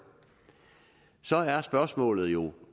så er spørgsmålet jo